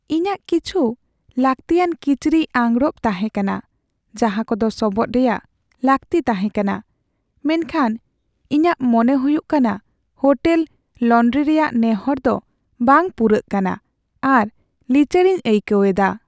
ᱤᱧᱟᱹᱜ ᱠᱤᱪᱷᱩ ᱞᱟᱹᱠᱛᱤᱭᱟᱱ ᱠᱤᱪᱨᱤᱡ ᱟᱸᱜᱽᱨᱚᱯ ᱛᱟᱦᱮᱸ ᱠᱟᱱᱟ ᱡᱟᱦᱟᱸ ᱠᱚᱫᱚ ᱥᱚᱵᱚᱫᱽ ᱨᱮᱭᱟᱜ ᱞᱟᱹᱠᱛᱤ ᱛᱟᱦᱮᱸ ᱠᱟᱱᱟ, ᱢᱮᱱᱠᱷᱟᱱ ᱤᱧᱟᱹᱜ ᱢᱚᱱᱮ ᱦᱩᱭᱩᱜ ᱠᱟᱱᱟ ᱦᱳᱴᱮᱞ ᱞᱚᱱᱰᱨᱤ ᱨᱮᱭᱟᱜ ᱱᱮᱦᱚᱨ ᱫᱚ ᱵᱟᱝ ᱯᱩᱨᱟᱹᱜ ᱠᱟᱱᱟ ᱟᱨ ᱞᱤᱪᱟᱹᱲ ᱤᱧ ᱟᱹᱭᱠᱟᱹᱣ ᱮᱫᱟ ᱾